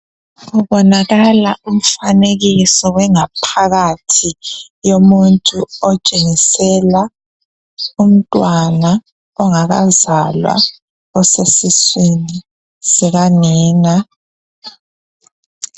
kubonakala umfanekiso wengaphakathi yomuntu otshengisela umntwana ongakazalwa osesiswini sikanina